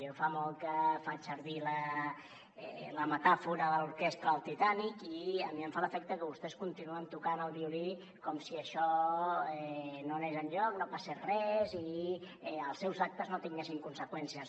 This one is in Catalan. jo fa molt que faig servir la metàfora de l’orquestra del titànic i a mi em fa l’efecte que vostès continuen tocant el violí com si això no anés enlloc no passés res i els seus actes no tinguessin conseqüències